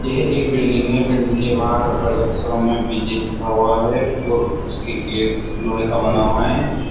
ये एक बिल्डिंग है बिल्डिंग के बाहर बड़े अक्षरों में विजय लिखा हुआ है और उसके गेट लोहे का बना हुआ है।